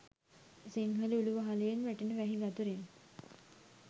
සිංහල උළු වහළයෙන් වැටෙන වැහි වතුරෙන්